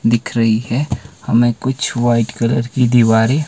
दिख रही है हमें कुछ व्हाइट कलर की दीवारें--